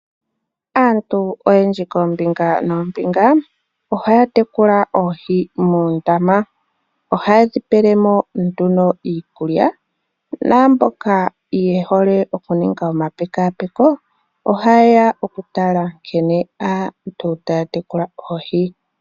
Aantu oyendji koombinga noombinga ohaya tekula oohi muundama. Ohaye dhi pele mo nduno iikulya. Naamboka ye hole okuninga omapekapeko oha yeya okutala nkene aantu taya tekula oohi.